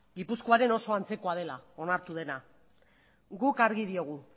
gipuzkoaren oso antzekoa dela onartu dena guk argi diogu